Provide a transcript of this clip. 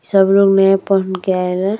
सगुन में पहन के आवे।